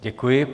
Děkuji.